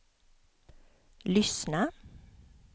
lyssna